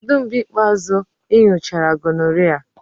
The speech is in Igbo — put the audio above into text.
Kedu mgbe ikpeazụ ị nyochara gonorrhea?